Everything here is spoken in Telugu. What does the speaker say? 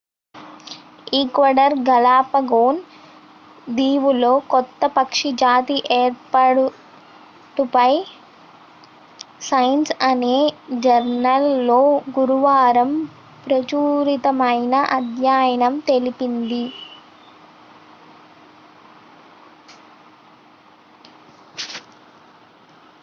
ఈక్వడార్ గాలాపగోస్ దీవుల్లో కొత్త పక్షి జాతి ఏర్పాటుపై సైన్స్ అనే జర్నల్ లో గురువారం ప్రచురితమైన అధ్యయనం తెలిపింది